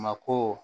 Mako